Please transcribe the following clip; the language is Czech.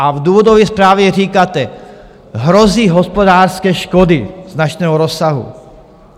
A v důvodové zprávě říkáte: "Hrozí hospodářské škody značného rozsahu."